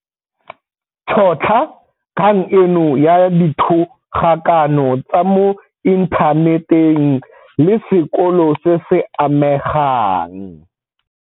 Tšhotlha kgang eno ya dithogakano tsa mo inthaneteng le sekolo se se amegang.